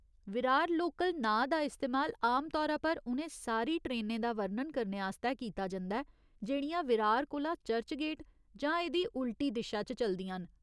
Virar local नांऽ दा इस्तेमाल आमतौरा पर उ'नें सारी ट्रेनें दा वर्णन करने आस्तै कीता जंदा ऐ जेह्ड़ियां विरार कोला चर्चगेट जां एह्दी उल्टी दिशा च चलदियां न।